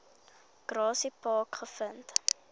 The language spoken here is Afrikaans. grassy park gevind